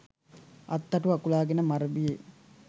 අත්තටු අකුලාගෙන මරබියේ